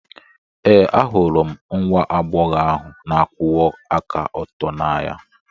Ee, ahụrụ m nwa agbọghọ ahụ na-akwụwa aka ọtọ n'anya.